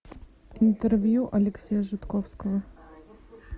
интервью алексея жидковского